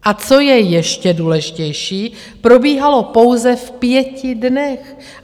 A co je ještě důležitější, probíhalo pouze v pěti dnech.